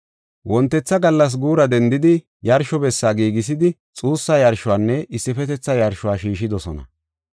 Wontetha gallas guura dendidi, yarsho bessi giigisidi, xuussa yarshonne issifetetha yarsho shiishidosona.